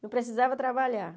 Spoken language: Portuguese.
Não precisava trabalhar